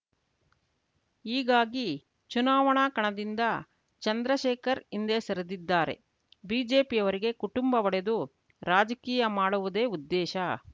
ಹೀಗಾಗಿ ಚುನಾವಣಾ ಕಣದಿಂದ ಚಂದ್ರಶೇಖರ್‌ ಹಿಂದೆ ಸರಿದಿದ್ದಾರೆ ಬಿಜೆಪಿಯವರಿಗೆ ಕುಟುಂಬ ಒಡೆದು ರಾಜಕೀಯ ಮಾಡುವುದೇ ಉದ್ದೇಶ